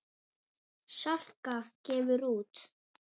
Salka gefur út.